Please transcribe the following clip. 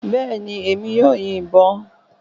Bẹ́ẹ̀ ni, èmi yóò yin ìbọn